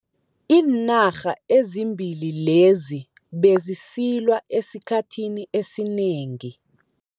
Iinarha ezimbili lezi bezisilwa esikhathini esinengi.